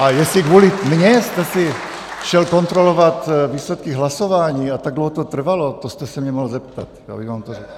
A jestli kvůli mně jste si šel kontrolovat výsledky hlasování a tak dlouho to trvalo, to jste se mě mohl zeptat, já bych vám to řekl.